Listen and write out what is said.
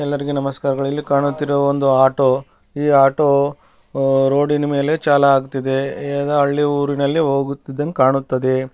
ಎಲ್ಲರಿಗೆ ನಮಸ್ಕಾರಗಳು ಇಲ್ಲಿ ಕಾಣುತ್ತಿರುವ ಒಂದು ಆಟೊ ಈ ಆಟೊ ರೋಡಿನ್ ಮೇಲೆ ಚಾಲು ಆಗುತ್ತಿದೆ ಇದು ಹಳ್ಳಿ ಊರಿನಲ್ಲಿ ಹೋಗುತ್ತಿರುವುದು ಕಾಣುತ್ತಿದೆ.